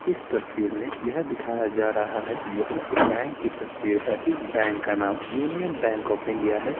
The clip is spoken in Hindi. इस तस्वीर में यह दिखाया जा रहा है यह एक बैंक की तस्वीर है इस बैंक का नाम यूनियन बैंक ऑफ़ इंडिया है।